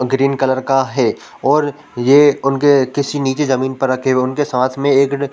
green colour का है और ए उनके किसी निजी जमीन पर रखे हुए उनके साथ में एक --